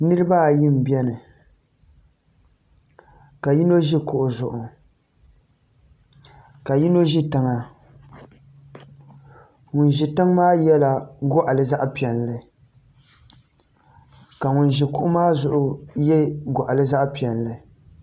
Niraba ayi n biɛni ka yino ʒi kuɣu zuɣu ka yino ʒi tiŋa ŋun ʒi tiŋ maa yɛla goɣali zaɣ piɛlli ka ŋun ʒi kuɣu maa zuɣu yɛ goɣali zaɣ piɛlli